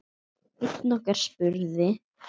Einn okkar spurði